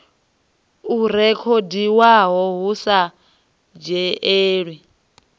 o rekhodiwaho hu sa dzhielwi